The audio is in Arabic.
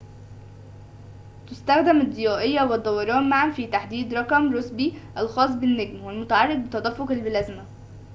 تستخدم الضيائيّة والدوران معاً في تحديد رقم روسبي الخاص بالنجم والمتعلّق بتدفّق البلازما